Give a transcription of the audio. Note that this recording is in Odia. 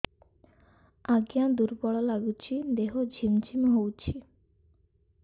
ଆଜ୍ଞା ଦୁର୍ବଳ ଲାଗୁଚି ଦେହ ଝିମଝିମ ହଉଛି